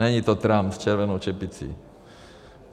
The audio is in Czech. Není to Trump s červenou čepicí.